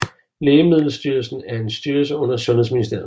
Lægemiddelstyrelsen er en styrelse under Sundhedsministeriet